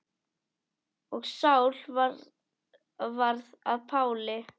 Og Sál varð að Páli.